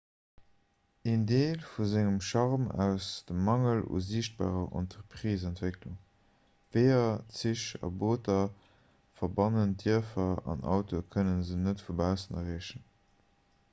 een deel vu sengem charme ass de mangel u siichtbarer entrepriseentwécklung weeër zich a booter verbannen d'dierfer an autoe kënne se net vu baussen erreechen